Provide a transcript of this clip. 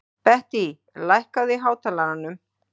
Bettý, lækkaðu í hátalaranum.